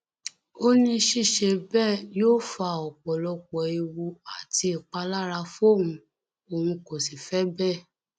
ó ní ṣíṣe bẹẹ yóò fa ọpọlọpọ ewu àti ìpalára fóun òun kó sì fẹ bẹẹ